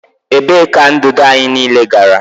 Ebee ka ndụdụ anyị niile gara?